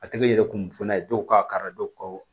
A tɛ kɛ yɛrɛ kunfana ye dɔw ka kara dɔ ko